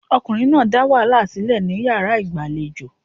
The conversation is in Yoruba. Arákunrin náà dá wàhálà sílẹ̀ ní yàrá ìgbàlejò.